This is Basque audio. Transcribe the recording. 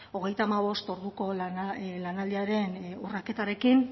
hogeita hamabost orduko lanaldiaren urraketarekin